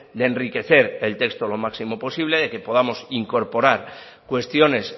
de enriquecer el texto lo máximo posible de que podemos incorporar cuestiones